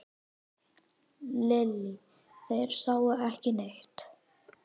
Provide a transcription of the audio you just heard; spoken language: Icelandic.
Lillý: Þeir sáu ekki neitt?